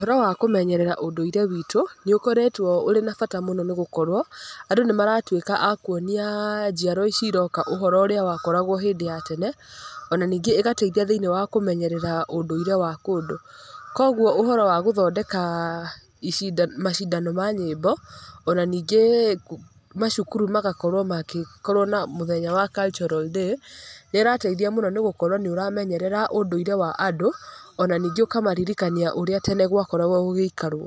Ũhoro wa kũmenyerera ũndũire witũ, nĩ ũkoretwo ũrĩ na bata mũno nĩ gũkorwo andũ nĩ maratuĩka a kuonia njiaro ici iroka ũhoro ũrĩa wakoragwo hĩndĩ ya tene. Ona ningĩ ĩgateithia kũmenyerera ũndũire wa kũndũ. Kũguo ũhora wa gũthondeka macindano ma nyĩmbo, ona ningĩ macukuru magakorwo magĩkorwo na mũthenya wa cultural day nĩ ĩrateithia mũno nĩ gũkorwo nĩ ũramenyerera ũndũire wa andũ, ona ningĩ ũkamaririkania ũrĩa tene gwakoragwo gũgĩikarwo.